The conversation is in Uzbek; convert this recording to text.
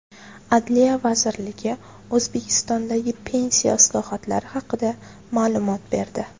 Adliya vazirligi O‘zbekistondagi pensiya islohotlari haqida ma’lumot berdi.